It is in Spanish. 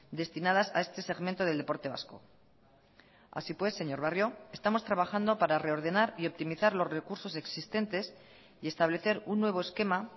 destinadas a este segmento del deporte vasco así pues señor barrio estamos trabajando para reordenar y optimizar los recursos existentes y establecer un nuevo esquema